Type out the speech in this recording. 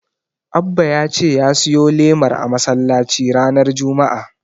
Abba ya ce ya siyo lemar a masallaci ranar Juma'a.